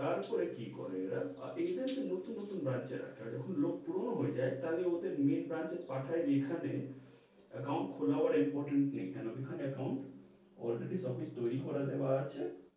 তার পরে কি করে এরা, আপনি দেখেছেন নুতুন নুতুন branch এ ডাকাই, যোকোন লোক পুরোনো হয়ে যাই তাহলে ওদের main branch এ পাঠায় দিঘা তে account খোলাবার importance নেই, কেন কি এখানে account already topic তৈরী করে দেয়া আছে,